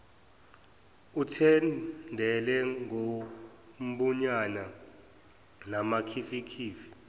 ethendele ngobumnyama namakhifikhifi